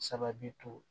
Sababu to